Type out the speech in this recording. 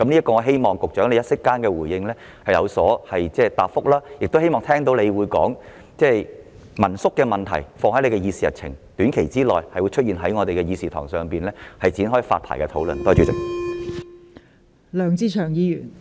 我希望局長稍後可以就此作出回應，亦希望他會說道會把民宿問題納入他的議事日程，讓民宿的發牌問題在短時間內在立法會的議事堂上展開討論。